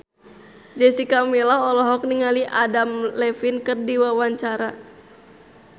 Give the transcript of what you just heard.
Jessica Milla olohok ningali Adam Levine keur diwawancara